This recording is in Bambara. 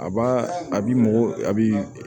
A b'a a bi mɔgɔ a bi